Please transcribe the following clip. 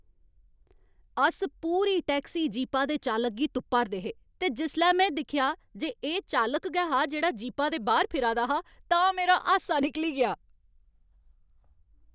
अस पूरी टैक्सी जीपा दे चालक गी तुप्पा 'रदे हे ते जिसलै में दिक्खेआ जे एह् चालक गै हा जेह्ड़ा जीपा दे बाह्र फिरा दा हा तां मेरा हासा निकली गेआ।